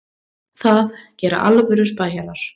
Það gera alvöru spæjarar.